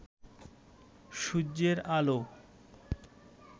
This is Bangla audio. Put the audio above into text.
সূর্যের আলো